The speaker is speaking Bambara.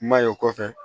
I m'a ye o kɔfɛ